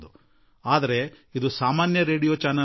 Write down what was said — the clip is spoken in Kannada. ಆದರೆ ಇದು ಸಾಧಾರಣ ರೇಡಿಯೋ ವಾಹಿನಿಯಲ್ಲ